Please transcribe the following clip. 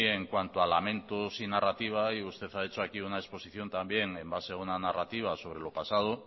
en cuanto a lamentos y narrativa y usted ha hecho aquí una exposición también en base a una narrativa sobre lo pasado